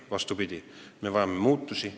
Vastupidi, me vajame muutusi.